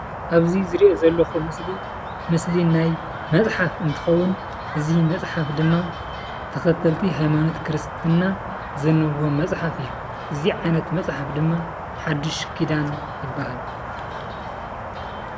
ኣብ እዚ ዚሪኦ ዘለኹ ምስሊ፣ ምስሊ ናይ መፅሓፍ እንትኸውን እዚ መፅሓፍ ድማ ተኸተልቲ ሃይማኖት ክርስትና ዘንብብዎ መፅሓፍ እዩ። እዙይ ዓይነት መፅሓፍ ድማ ሓዱሽ ኪዳን ይባሃል።